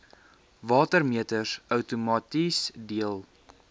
watermeters outomaties deel